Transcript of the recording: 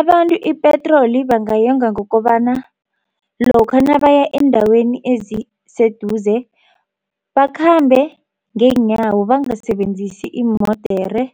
Abantu ipetroli bangayonga ngokobana lokha nabaya eendaweni eziseduze bakhambe ngeenyawo bangasebenzisi iimodere